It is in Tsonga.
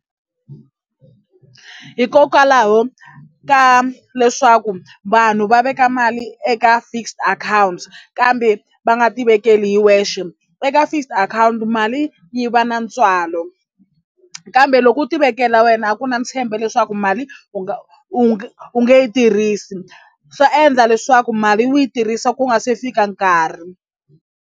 Hikokwalaho ka leswaku vanhu va veka mali eka fixed account kambe va nga tivekeli hi wexe eka fixed akhawunti mali yi va na ntswalo kambe loko u tivekela wena a ku na ntshembo leswaku mali u nga u nge u nge yi tirhisi swa endla leswaku mali u yi tirhisa ku nga se fika nkarhi.